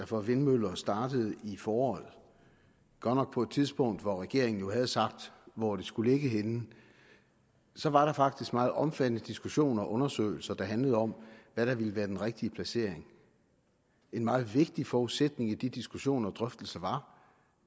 for vindmøller startede i foråret godt nok på et tidspunkt hvor regeringen jo havde sagt hvor det skulle ligge henne så var der faktisk meget omfattende diskussioner og undersøgelser der handlede om hvad der ville være den rigtige placering en meget vigtig forudsætning i de diskussioner og drøftelser var